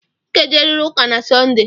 Ị ga-ejerịrị ụka na sọnde!